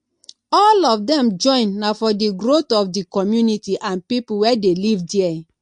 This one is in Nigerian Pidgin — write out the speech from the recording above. all of dem join na for di growth of di community and pipo wey de live there